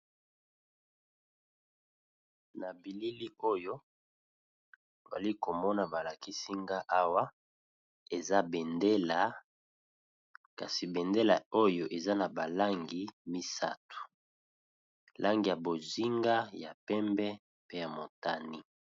Na bilili oyo bali komona balakisinga awa eza bendela kasi bendela oyo eza na balangi misato langi ya bozinga ya pembe pe ya motani.